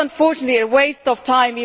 It was unfortunately a waste of time.